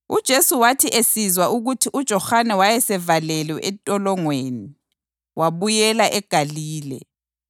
UJesu wathi esizwa ukuthi uJohane wayesevalelwe entolongweni, wabuyela eGalile.